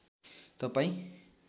तपाईँ